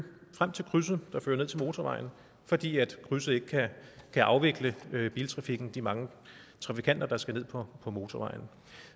frem til krydset der fører ned til motorvejen fordi krydset ikke kan afvikle biltrafikken og de mange trafikanter der skal ned på motorvejen